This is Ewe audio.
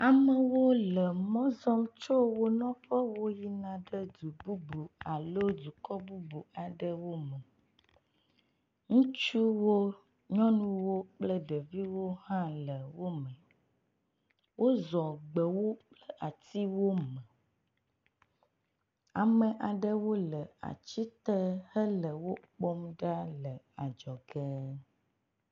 Amewo le mɔ zɔm tso wo nɔƒewo yina ɖe du bubu alo dukɔ bubu aɖewo me. Ŋutsuwo, nyɔnuwo kple ɖeviwo hã le wo me. Wozɔ gbewo kple atiwo me. Ame aɖewo le ati te hele wokpɔm ɖa le adzɔge.